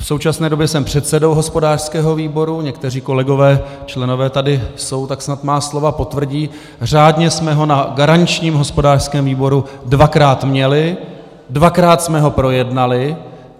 V současné době jsem předsedou hospodářského výboru, někteří kolegové, členové, tady jsou, tak snad moje slova potvrdí, řádně jsme ho na garančním hospodářském výboru dvakrát měli, dvakrát jsme ho projednali.